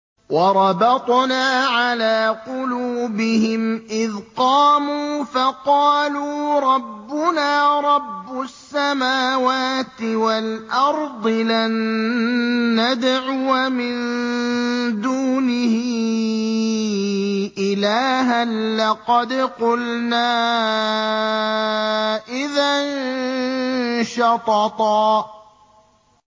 وَرَبَطْنَا عَلَىٰ قُلُوبِهِمْ إِذْ قَامُوا فَقَالُوا رَبُّنَا رَبُّ السَّمَاوَاتِ وَالْأَرْضِ لَن نَّدْعُوَ مِن دُونِهِ إِلَٰهًا ۖ لَّقَدْ قُلْنَا إِذًا شَطَطًا